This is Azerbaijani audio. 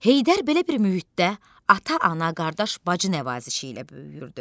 Heydər belə bir mühitdə ata-ana, qardaş-bacı nəvazişi ilə böyüyürdü.